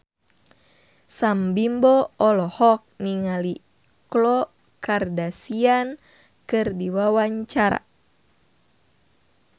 Sam Bimbo olohok ningali Khloe Kardashian keur diwawancara